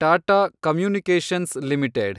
Tata communications limited